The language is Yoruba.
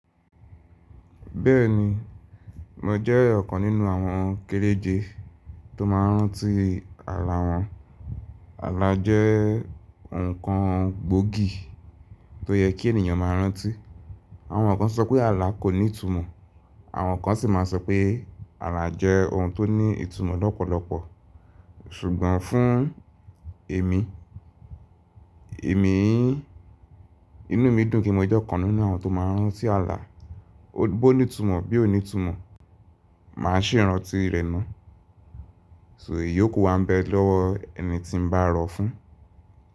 Bẹ́ẹ̀ni, mo jẹ́ ọ̀kan nínú àwọn kéréje tó máa ń rántí àlà wọn. Àlà jẹ́ nǹkan gbòógì tó yẹ kí ènìyàn máa rántí. Àwọn kan sọ pé àlà kò ní ìtumọ̀, àwọn kan sì máa sọ pé àlà jẹ́ ohun tó ní ìtumọ̀ lọ́pọ̀lọpọ̀. Ṣùgbọ́n fún èmi, èmi inú mi dùn kí mo jẹ́ ọ̀kan nínú àwọn tó máa ń rántí àlà. Bó ní ìtumọ̀, bí ò ní ìtumọ̀, màá sì rántí ẹ̀ni. So èyí kò wa ń bẹ lọ́wọ́ ẹni tí n bá rọ̀ fún?